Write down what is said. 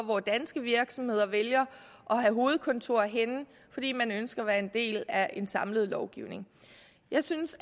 hvor danske virksomheder vælger at have hovedkontor henne fordi man ønsker at være en del af en samlet lovgivning jeg synes